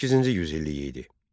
18-ci yüzillik idi.